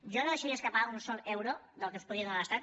jo no deixaria escapar un sol euro del que ens pugui donar l’estat